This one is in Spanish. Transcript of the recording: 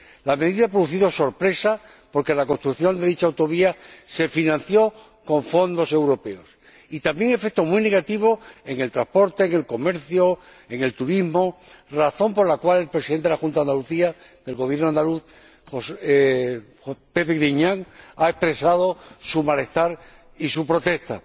La medida ha producido sorpresa porque la construcción de dicha autovía se financió con fondos europeos, y también un efecto muy negativo en el transporte, en el comercio, en el turismo, razón por la cual el Presidente de la Junta de Andalucía, José Antonio Griñán, ha expresado su malestar y su protesta.